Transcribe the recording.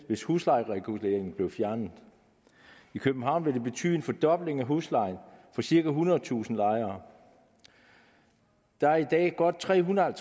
hvis huslejereguleringen blev fjernet i københavn ville det betyde en fordobling af huslejen for cirka ethundredetusind lejere der er i dag godt trehundrede